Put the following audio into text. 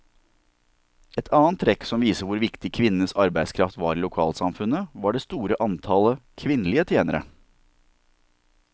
Et annet trekk som viser hvor viktig kvinnenes arbeidskraft var i lokalsamfunnet, var det store antallet kvinnelige tjenere.